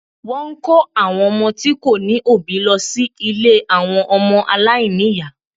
Wọ́n ń kó àwọn ọmọ tí kò ní òbí lọ sí ilé àwọn ọmọ aláìní ìyá